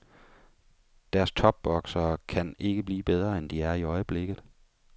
Deres topboksere kan ikke blive bedre, end de er i øjeblikket.